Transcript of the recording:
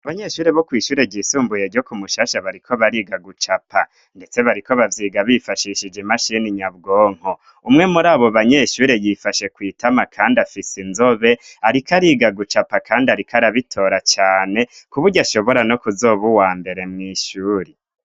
Abanyeshuri bo kw' ishure ryisumbuye ryo kumushasha bariko bariga gucapa, ndetse bariko bavyiga bifashishije imashini nyabwonko ,umwe muri abo banyeshure yifashe kwitama kandi afise inzobe ariko ariga gucapa ,kandi ariko arabitora cane ,k'uburyo ashobora no kuzoba uwa mbere mw' ishuri.